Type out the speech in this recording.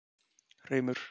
Hreimur